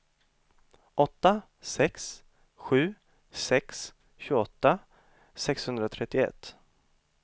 åtta sex sju sex tjugoåtta sexhundratrettioett